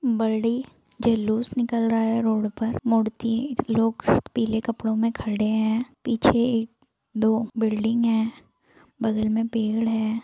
बड़ी जुलुस निकल रहा है रोड पर मूर्ति लोग पीले कपड़ों मे खड़े हैं पीछे एक दो बिल्डिंग है बगल में पेड़ है।